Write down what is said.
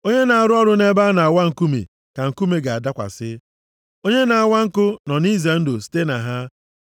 Onye na-arụ ọrụ nʼebe a na-awa nkume ka nkume ga-adakwasị. Onye na-awa nkụ nọ nʼize ndụ site na ha.